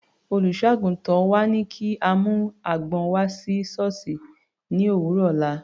Olùṣọ́-àgùntàn wa ní kí a mú àgbọn wá sí sọ́ọ̀sì ní òwúrọ̀ ọ̀la.